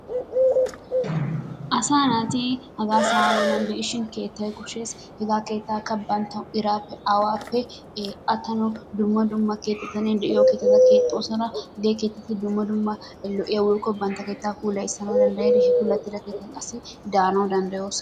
Asaa naati hagaa sa'aa bollan de'ishn keettay koshshees hegaa keettakka banttawu iraappe awaappe attanau dumma dumma de'iyoo keettata keexosona diyaa keettati dumma dumma lo'iyaa woyikko bantta keetta puullaysana dandayiydi daanawu dandayoosona.